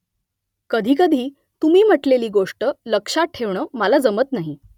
कधीकधी तुम्ही म्हटलेली गोष्ट लक्षात ठेवणं मला जमत नाही